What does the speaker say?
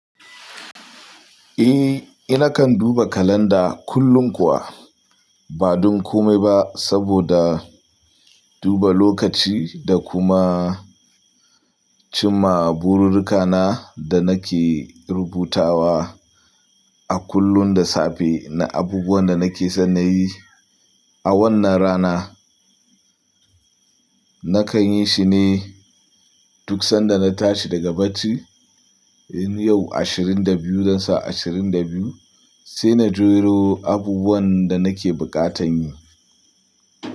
Eh, ina kan duba kalanda kullum kuwa ba dun komai ba saboda duba lokaci da kuma, cimma bururruka na da nake rubutawa a kullum da safe na abubuwan da nake son na yi a wannan rana. Nakan yi shi ne duk sanda na tashi daga bacci. In yau ashirin da biyu, zan sa ashirin da biyu, sai na jero abubuwan da nake bukatan yi.